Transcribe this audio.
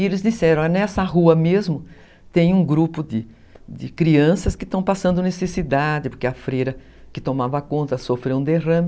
E eles disseram, nessa rua mesmo tem um grupo de crianças que estão passando necessidade, porque a freira que tomava conta sofreu um derrame.